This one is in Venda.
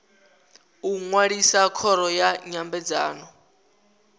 u ṅwalisa khoro ya nyambedzano